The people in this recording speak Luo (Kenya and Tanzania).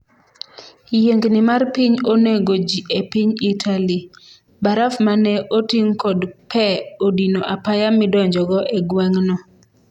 yiengni mar piny onego ji e piny Itali, baraf mane oting' kod pee odino apaya midonjogo e gweng'no